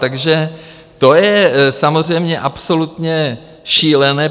Takže to je samozřejmě absolutně šílené.